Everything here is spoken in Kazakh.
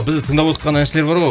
бізді тыңдавотқан әншілер бар ғой